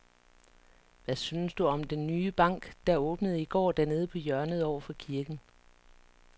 Hvad synes du om den nye bank, der åbnede i går dernede på hjørnet over for kirken?